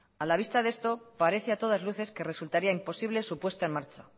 a la vista de esto parece a todas luces que resultaría imposible su puesta en marcha